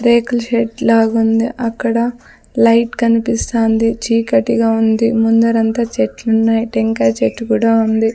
రేకుల షెడ్ లాగుంది అక్కడ లైట్ కన్పిస్తాంది చీకటిగా ఉంది ముందరంతా చెట్లున్నాయ్ టెంకాయ చెట్టు కూడా ఉంది.